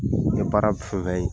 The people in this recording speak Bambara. N ye baara fɛn fɛn ye